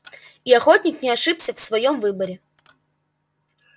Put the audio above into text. и охотник не ошибся в своём выборе